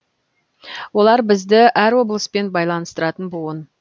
олар бізді әр облыспен байланыстыратын буын